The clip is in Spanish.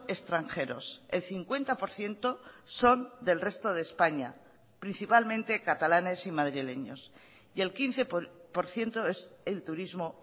extranjeros el cincuenta por ciento son del resto de españa principalmente catalanes y madrileños y el quince por ciento es el turismo